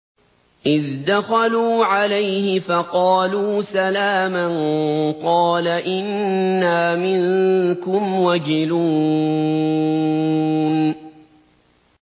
إِذْ دَخَلُوا عَلَيْهِ فَقَالُوا سَلَامًا قَالَ إِنَّا مِنكُمْ وَجِلُونَ